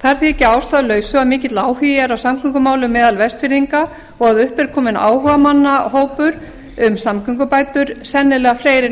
það er því ekki að ástæðulausu að mikill áhugi er á samgöngumálum vestfirðinga og upp er kominn áhugamannahópur um samgöngubætur sennilega fleiri en